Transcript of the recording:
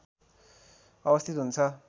अवस्थित हुन्छ